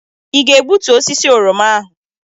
Ị ga-egbutu osisi oroma ahụ?